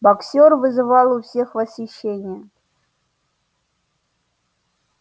боксёр вызывал у всех восхищение